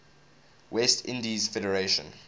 west indies federation